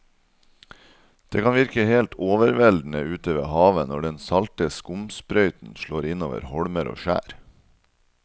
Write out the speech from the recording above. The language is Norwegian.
Det kan virke helt overveldende ute ved havet når den salte skumsprøyten slår innover holmer og skjær.